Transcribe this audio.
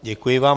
Děkuji vám.